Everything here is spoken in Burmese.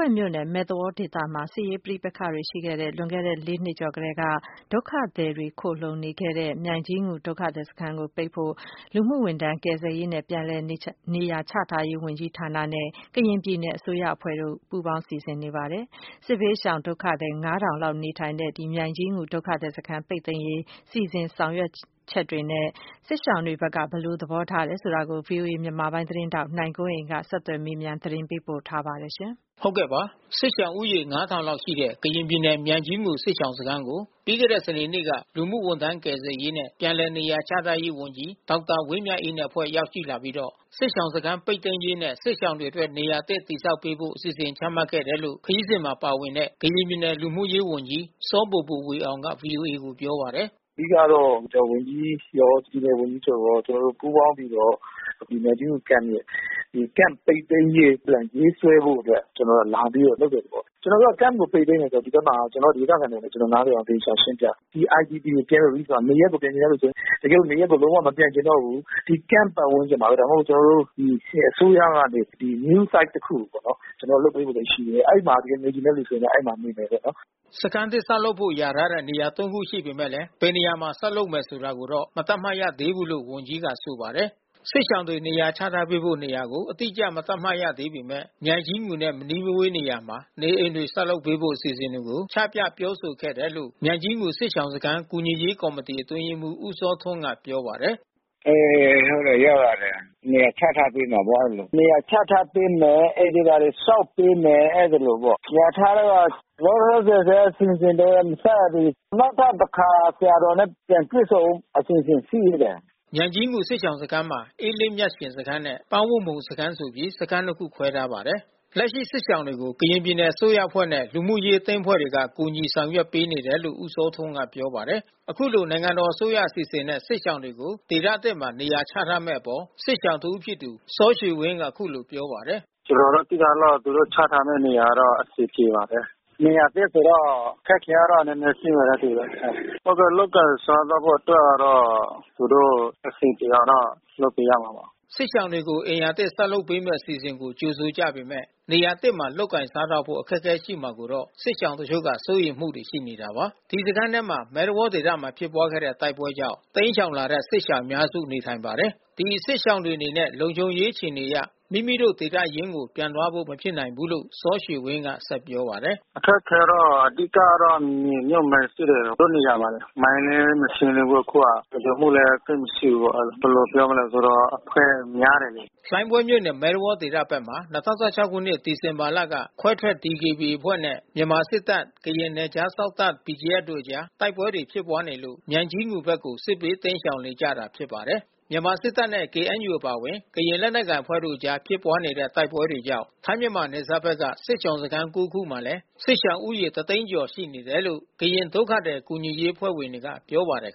ဲမြို့နယ် မဲသဝေါဒေသ ဘက်မှာ စစ်ရေးတင်းမာမှု ရှိခဲ့တဲ့ လွန်ခဲ့တဲ့ ၄ နှစ် ကျော်ကတည်းက ဒုက္ခသည်တွေ တိမ်းရှောင်ခိုလှုံနေတဲ့ မြိုင်ကြီးငူဒုက္ခသည် စခန်းကို ပိတ်သိမ်းဖို့ လူမှုဝန်ထမ်း ကယ်ဆယ်ရေးနဲ့ပြန်လည်နေရာ ချထားရေး ဝန်ကြီး ဌာနနဲ့ ကရင်ပြည်နယ်အစိုးရ အဖွဲ့တို့ က စီစဉ်နေပါတယ်။ စစ်ရှောင် ၅၀၀၀ လောက် နေထိုင်ရာ မြိုင်ကြီးငူဒုက္ခသည် စခန်းကို ပိတ်သိမ်းဖို့ ဘယ်လို လုပ်ဆောင်နေတယ် ဆိုတာနဲ့ စစ်ရှောင်တွေ ဘက်က ဘယ်လို သဘောထားတယ် ဆိုတာကို ဗွီအိုအေမြန်မာပိုင်းသတင်းထောက် နိုင်ကွန်းအိန်ကနေ ဆက်သွယ်မေးမြန်း သတင်းပေးပို့ ထားပါတယ်။ စစ်ရှောင်ဦးရေ (၅၀၀၀)လောက် ရှိတဲ့ကရင်ပြည်နယ်၊ မြိုင်ကြီးငူစစ်ရှောင်စခန်းကို ပြီးခဲ့တဲ့စနေနေ့က လူမှုဝန် ထမ်း ကယ်ဆယ်ရေးနဲ့ပြန်လည်နေရာချထားရေး ဝန်ကြီးဒေါက်တာ ဝင်းမြတ်အေးနဲ့ အဖွဲ့ရောက်ရှိလာပြီးတော့ စစ်ရှောင် စခန်းပိတ်သိမ်းရေး နဲ့စစ်ရှောင်တွေအတွက်နေရာ အသစ်တည်ဆောက်ပေးဖို့ အစီစဉ်ချမှတ်ခဲ့တယ်လို့ ခရီးစဉ်မှာ ပါဝင်တဲ့ ကရင်ပြည်နယ်လူမှုရေး ဝန်ကြီးစောဘိုဘိုဝေအောင်က ဗွီအိုအေကိုပြောပါတယ်။ “အဓိကတော့ လူကယ်ကယ်ပြန်ဝန်ကြီးရော၊ပြည်နယ်ဝန်ကြီးချုပ်ရော ကျွန်တော်တို့ ပူးပေါင်းပြီးတော့ ဒီမြိုင်ကြီးငူ Camp ရဲ့ ဒီ Camp ပိတ်သိမ်းရေးအတွက် ရေးဆွဲဖို့အတွက် ကျွန်တော်တို့က လာပြီးတော့ လုပ်တဲ့သဘော။ ကျွန်တော် တို့က Camp ပိတ်သိမ်း တယ်ဆိုတာ၊ ဒီဘက်မှာဒေသခံတွေနဲ့ကျွန်တော်တို့ နားလည်အောင် သေချာရှင်းပြတယ်။ ဒီIDP Camp မှာ နေရပ်ကိုပြန်ချင်တဲ့သူပြန်။ တကယ်လို့နေရပ်ကို မပြန်ချင်တော့ဘူး ဒီCamp ပတ်ဝန်းကျင်မှာဘဲ ဒါမှမဟုတ် ကျွန်တော်တို့ အစိုး၇ကနေ နေရာအသစ် (New Site) တခုကိုပေါ့နော် ကျွန်တော်တို့ လုပ်ပေးဖို့ရှိတယ်။ အဲဒီမှာနေချင်တဲ့ သူ ကျတော့ အဲဒီမှာနေပေါ့။” စခန်းသစ် ဆောက်ဖို့လျာထားတဲ့ နေရာ(၃) ခုရှိနေ ပေမဲ့ ဘယ်နေရာမှာ ဆောက်လုပ်မယ်ဆိုတာ ကိုတော့ မသတ်မှတ်ရသေးဘူး လို့ ဝန်ကြီးကဆိုပါတယ်။ စစ်ရှောင်တွေနေရာချထားပေး ဖို့ နေရာကို အတိအကျ မသတ်မှတ်ရသေးပေမဲ့ မြိုင်ကြီးငူနဲ့ မနီးမဝေးနေရာမှာ နေအိမ် တွေ ဆောက်လုပ်ပေးဖို့ အစီအစဉ်တွေကို ချပြပြောဆိုခဲ့တယ်လို့ မြိုင်ကြီးငူ စစ်ရှောင်စခန်း ကူညီရေးကော်မီတီ အတွင်း ရေး မှူး ဦးစောထွန်းကပြောပါတယ်။ “အေး ဟုတ်တယ်ရောက်လာတယ်။ နေရာချထားပေးမယ်ပေါ့ အဲဒီလို။ အိမ်တွေဘာတွေ ဆောက် ပေးမယ်။ အဲဒီလိုပေါ့။ လျာထားတာက လောလောဆယ်တော့ အစီစဉ်တော့ မစရသေးဘူး။ နောက်ထပ်တခါ ဆရာတော်နဲ့ တွေ့ဆုံဖို့ အစီစဉ် ရှိသေးတယ်။” မြိုင်ကြီးငူစစ်ရှောင်စခန်းမှာ အေးလင်းမြတ်ရှင်စခန်းနဲ့ ပန်းဝတ်မှုံစခန်းဆိုပြီး စခန်းနှစ်ခုခွဲထားပါတယ်။ လက်ရှိစစ်ရှောင်တွေကို ကရင်ပြည်နယ်အစိုးရအဖွဲ့နဲ့ လူမှုရေးအသင်းအဖွဲ့တွေက ကူညီဆောင်ရွက် ပေးနေ တယ်လို့ ဦးစောထွန်းကပြောပါတယ်။ အခုလိုနိုင်ငံတော်အစိုးရအစီစဉ်နဲ့ စစ်ရှောင်တွေကိုဒေသသစ်မှာနေရာချထားမဲ့အပေါ် စစ်ရှောင်တဦး ဖြစ်တဲ့ စောရွှေ ဝင်းကအခုလိုပြောပါတယ်။ “ကျွန်တော်တို့သိထားသလောက် သူတို့ ချထားပေးမယ့် နေရာက အဆင်ပြေပါတယ်။ နေရာသစ်ဆိုတော့ အခက်ခဲတော့ နည်းနည်းရှိမယ်နဲ့ တူတယ်။ လုပ်ကိုင်စားသောက်ဖို့ အတွက်ကတော့ သူတို့အဆင်ပြေအောင်တော့ လုပ်ပေးရမှာပေါ့။” စစ်ရှောင်တွေကို အိမ်ယာသစ် ဆောက်လုပ်ပေးမဲ့ အစီစဉ် ကို ကြိုဆို ကြ ပေမဲ့ နေရာသစ်မှာ လုပ်ကိုင်စားသောက်ဖို့ အခက်ခဲရှိမှာကိုတော့ စစ်ရှောင်တချို့က စိုးရိမ်မှုတွေရှိနေတာပါ။ ဒီစခန်းထဲမှာ မဲသဝေါဒေသမှာဖြစ်ပွားခဲ့တဲ့ တိုက်ပွဲတွေကြောင့် တိမ်းရှောင်လာတဲ့ စစ်ရှောင်အများစု နေထိုင်ကြပါတယ်။ ဒီ စစ်ရှောင်တွေအနေနဲ့ လုံခြုံရေးအခြေအနေအရ မိမိတို့ ဒေသရင်းကို ပြန်သွားဖို့မဖြစ်နိုင်ဘူးလို့လည်း စောရွှေဝင်းက ပြောပါတယ်။ “အခက်ခဲကတော့ အဓိကကတော့ မြေမြုပ်မိုင်းရှိတယ် တို့နေရာမှာလေ။ မိုင်းလဲ မရှင်းသေးဘူး အခုက။ လုံခြုံမှုလဲ သိပ်မရှိဘူး။ ဘယ်လိုပြောမလဲ အဖွဲ့များတယ်လေ။ ” လှိုင်းဘွဲမြို့နယ် ၊ မဲသဝေါဒေသ ဘက်မှာ ၂၀၁၆ ခုနှစ် စက်တင်ဘာလက ခွဲထွက် DKBA အဖွဲ့နဲ့ မြန်မာစစ်တပ်၊ ကရင် နယ်ခြားစောင့် တပ် BGF တို့အကြား တိုက်ပွဲတွေ ဖြစ်နေလို့ မြိုင်ကြီးငူဘက်ကို စစ်ဘေးတိမ်းရှောင်လာနေကြ တာ ဖြစ်ပါတယ်။ မြန်မာစစ်တပ်နဲ့ KNUအပါဝင် ကရင်လက်နက်ကိုင်အဖွဲ့ တို့အကြားဖြစ်ပွားခဲ့တဲ့ တိုက်ပွဲတွေကြောင့် ထိုင်းမြန်မာနယ် စပ်ဘက်က စစ်ရှောင်စခန်း(၉)ခုမှာလဲ စစ်ရှောင်ဦးရေတသိန်းကျော်ရှိနေတယ်လို့ ကရင်ဒုက္ခသည်ကူညီရေး အဖွဲ့ က ပြောပါတယ်